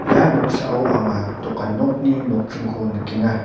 ia noksao anga dokan nokni nokdringko nikenga.